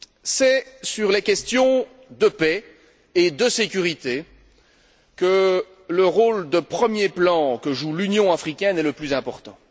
C'est sur les questions de paix et de sécurité que le rôle de premier plan que joue l'Union africaine est le plus important.